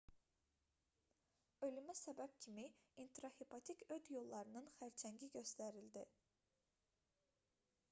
ölümə səbəb kimi intrahepatik öd yollarının xərçəngi göstərildi